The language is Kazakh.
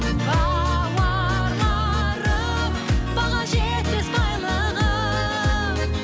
бауырларым баға жетпес байлығым